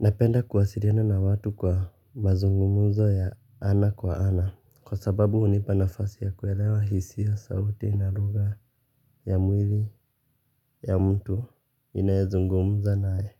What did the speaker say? Napenda kuwasiliana na watu kwa mazungumuzo ya ana kwa ana. Kwa sababu hunipa nafasi ya kuelewa hisia sauti na lugha ya mwili ya mtu ninayezungumuza naye.